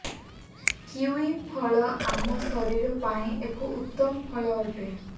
kiwi ଫଳ ଆମ ଶରୀର ପାଇଁ ଏକ ଉତ୍ତମ ଫଳ ଅଟେ